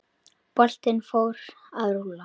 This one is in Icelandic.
Boltinn fór að rúlla.